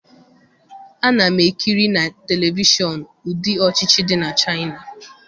Ana m ekiri na televishọn ụdị ọchịchị dị na China.